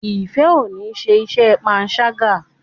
Ifẹ ọ ní ṣe iṣé panṣaga.